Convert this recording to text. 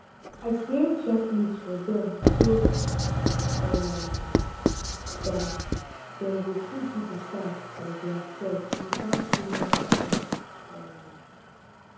i create checklist for dem so um dat dem go fit do the task by theirselves without too much help um